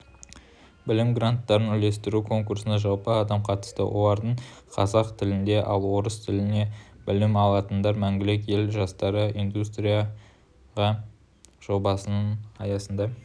білім гранттарын үлестіру конкурсына жалпы адам қатысты олардың қазақ тілінде ал орыс тілінде білім алатындар мәңгілік ел жастары индустрияға жобасының аясында